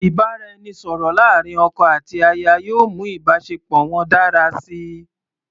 Ìbáraẹnisọ̀rọ̀ láàrin ọkọ àti aya yóò mú ìbáṣepọ̀ wọn dára síi.